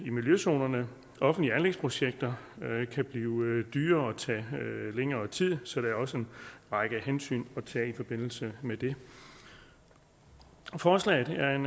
i miljøzonerne offentlige anlægsprojekter kan blive dyrere og tage længere tid så der er også en række hensyn at tage i forbindelse med det forslaget er en